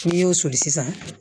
N'i y'o soli sisan